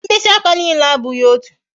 Mkpịsị aka niile abụghị otu